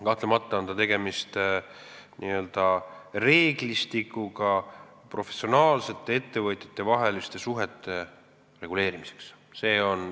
Kahtlemata on tegemist n-ö reeglistikuga professionaalsete ettevõtjate vaheliste suhete reguleerimiseks.